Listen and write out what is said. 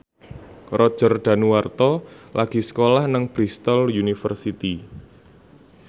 Roger Danuarta lagi sekolah nang Bristol university